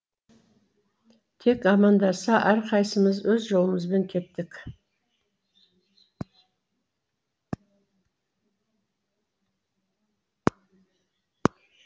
тек амандаса әрқайсымыз өз жолымызбен кеттік